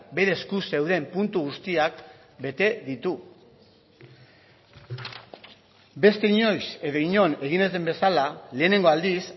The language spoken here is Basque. bere esku zeuden puntu guztiak bete ditu beste inoiz edo inon egin ez den bezala lehenengo aldiz